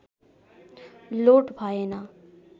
load भएन